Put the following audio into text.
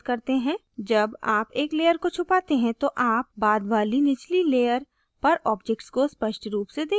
जब आप एक layer को छुपाते हैं तो आप बाद वाली निचली layer पर objects को स्पष्ट रूप से देखते हैं